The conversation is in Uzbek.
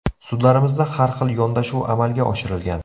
Sudlarimizda har xil yondashuv amalga oshirilgan.